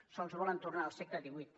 sols volen tornar al segle xviii